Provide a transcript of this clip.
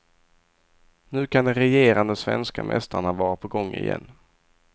Nu kan de regerande svenska mästarna vara på gång igen.